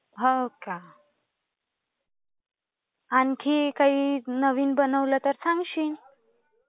हो का? आणखी काही नवीन बनवलं तर सांगशील?